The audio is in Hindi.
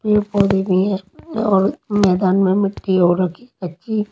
पेड़ पौधे भी हैं और मैदान में मिट्टी और रखी अच्छी --